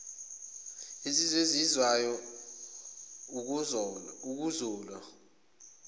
insizwa ezizwayo ukuzolwa